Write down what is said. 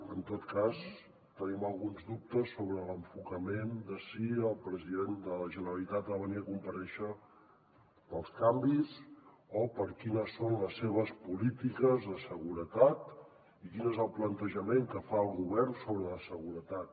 en tot cas tenim alguns dubtes sobre l’enfocament de si el president de la generalitat ha de venir a comparèixer pels canvis o per quines són les seves polítiques de seguretat i quin és el plantejament que fa el govern sobre la seguretat